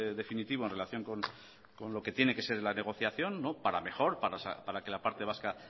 definitivo en relación con lo que tiene que ser la negociación para mejor para que la parte vasca